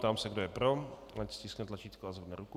Ptám se, kdo je pro, ať stiskne tlačítko a zvedne ruku.